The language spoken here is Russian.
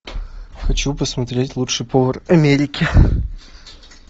хочу посмотреть лучший повар америки